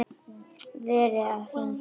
Verið að hringja út árið.